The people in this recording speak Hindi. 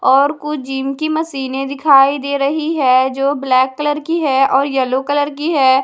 और कुछ जिम की मशीने दिखाई दे रही है जो ब्लैक कलर की है और येलो कलर की है।